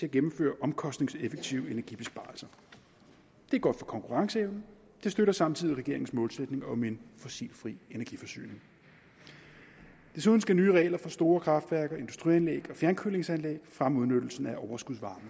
at gennemføre omkostningseffektive energibesparelser det er godt for konkurrenceevnen og det støtter samtidig regeringens målsætning om en fossilfri energiforsyning desuden skal nye regler for store kraftværker industrianlæg og fjernkølingsanlæg fremme udnyttelsen af overskudsvarme